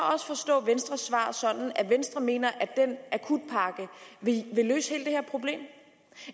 også forstå venstres svar sådan at venstre mener at den akutpakke vil løse hele det her problem